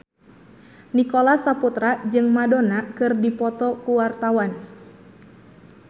Nicholas Saputra jeung Madonna keur dipoto ku wartawan